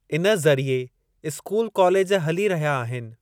इन ज़रीए school college हली रहया आहिनि।